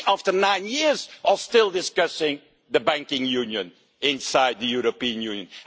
And we, after nine years, are still discussing the banking union inside the European Union.